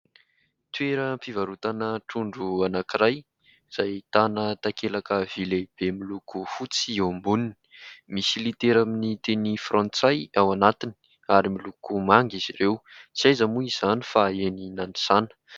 Toeram-pivarotana trondro anankiray izay ahitana takelaka vy lehibe miloko fotsy eo amboniny. Misy litera amin'ny teny frantsay ao anatiny ary miloko manga izy ireo. Tsy aiza moa izany fa eny Nanisana.